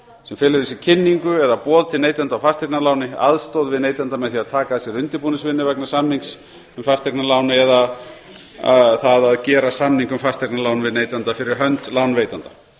sem felur í sér kynningu eða boð til neytanda á fasteignaláni aðstoð við neytanda með því að taka að sér undirbúningsvinnu vegna samnings um fasteignalán eða það að gera samning um fasteignalán við neytanda fyrir hönd lánveitanda